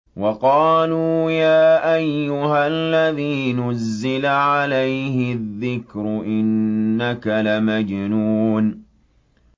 وَقَالُوا يَا أَيُّهَا الَّذِي نُزِّلَ عَلَيْهِ الذِّكْرُ إِنَّكَ لَمَجْنُونٌ